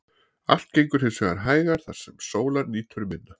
Allt gengur hins vegar hægar þar sem sólar nýtur minna.